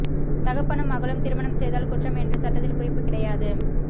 தகப்பனும் மகளும் திருமணம் செய்தல் குற்றம் என்று சட்டத்தில் குறிப்பு கிடையாது